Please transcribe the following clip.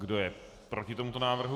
Kdo je proti tomuto návrhu?